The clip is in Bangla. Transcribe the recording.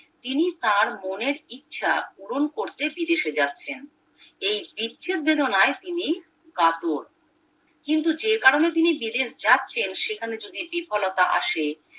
তিনি তাঁর মনের ইচ্ছা পূরণ করতে বিদেশে যাচ্ছেন এই বিচ্ছেদ বেদনায় তিনি কাতর কিন্তু যে কারনে তিনি বিদেশ যাচ্ছেন সেখানে যদি বিফলতা আসে